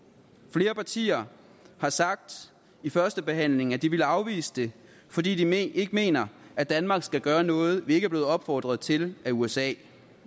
flere partier har sagt i førstebehandlingen at de ville afvise det fordi de ikke mener at danmark skal gøre noget vi ikke er blevet opfordret til af usa